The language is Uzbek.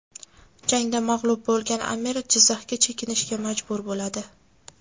Jangda mag‘lub bo‘lgan amir Jizzaxga chekinishga majbur bo‘ladi.